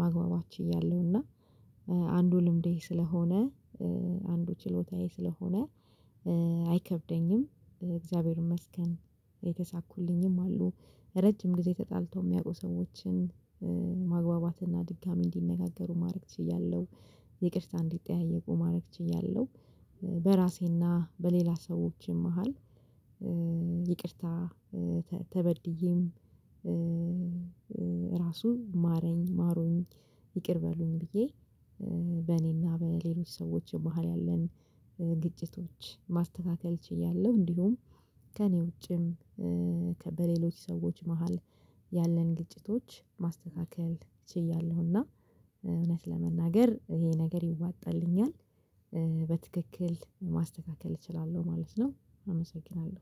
ማግባባት ችያለሁና። አንዱ ልምዴ ስለሆነ አንዱ ችሎታዬ ስለሆነ። አይከብደኝም እግዚአብሔር ይመስገን የተሳኩልኝም አሉ ረጅም ጊዜ ተጣልተው የሚያውቁ ሰዎችን ማግባባትና ድጋሚ እንዲነጋገሩ ማድረግ ትችያለሁ። ይቅርታ እንዲጠያየቁ ማድረግ ትችያለሁ። በራሴና በሌላ ሰዎችም መሃል። ይቅርታ ተበድዬም ራሱን ማረኝ ማሩኝ ይቅር በሉኝ ብዬ። በእኔና በሌሎች ሰዎች የመሃል ያለን ግጭቶች ማስተካከል ችያለሁ። እንዲሁም ከእኔ ውጪም በሌሎች ሰዎች መሃል ያለን ግጭቶች ማረጋጋት እችላለሁና። እውነት ለመናገር ይሄ ነገር ይዋጣልኛል። በትክክል ማስተካከል እችላለሁ ማለት ነው። አመሰግናለሁ